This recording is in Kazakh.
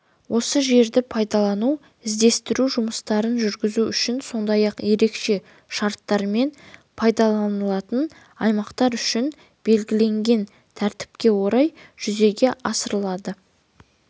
осы жерді пайдалану іздестіру жұмыстарын жүргізу үшін сондай-ақ ерекше шарттармен пайдаланылатын аймақтар үшін белгіленген тәртіпке орай жүзеге асырылады